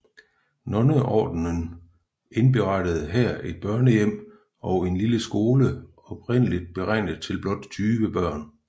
Nonneordenen indberettede her et børnehjem og en lille skole oprindeligt beregnet til blot 20 børn